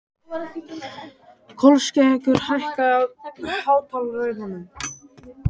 Kolskeggur, hækkaðu í hátalaranum.